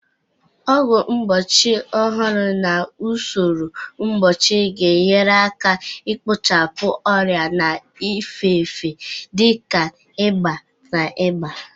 Ọgwụ mgbochi ọhụrụ na usoro mgbochi ga-enyere aka ikpochapụ ọrịa na-efe efe dị ka ịba na ịba